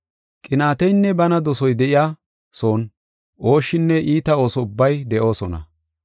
Qinaateynne bana dosoy de7iya son ooshshinne iita ooso ubbay de7oosona.